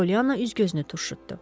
Polyana üz-gözünü turşutdu.